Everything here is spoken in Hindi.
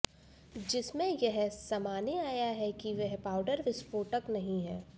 जिसमें यह समाने आया है कि वह पाउडर विस्फोटक नहीं है